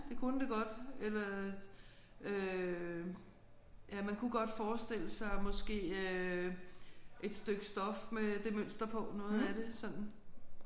Det kunne det godt eller øh ja man kunne godt forestille sig måske øh et stykke stof med det mønster på noget af det sådan